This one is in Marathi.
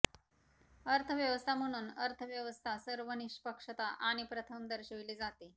अर्थव्यवस्था म्हणून अर्थव्यवस्था सर्व निष्पक्षता आणि प्रथम दर्शविले जाते